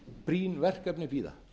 brýn verkefni bíða